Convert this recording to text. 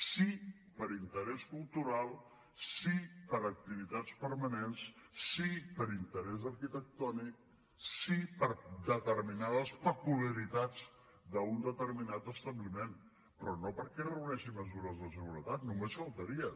sí per interès cultural sí per activitats permanents sí per interès arquitectònic sí per determinades peculiaritats d’un determinat establiment però no perquè reuneixi mesures de seguretat només faltaria